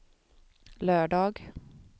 lördag